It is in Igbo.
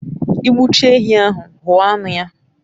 I gbu chaa ehi ahu, huo anu ya